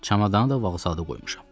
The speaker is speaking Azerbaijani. Çamadanı da vağzalda qoymuşam.